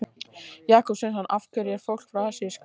Jakob Sveinsson: Af hverju er fólk frá Asíu skáeygt?